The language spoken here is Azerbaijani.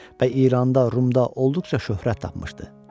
Və İranda, Rumda olduqca şöhrət tapmışdı.